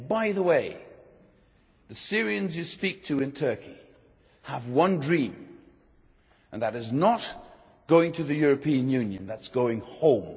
And by the way, the Syrians you speak to in Turkey have one dream, and that is not to go to the European Union, but to go home.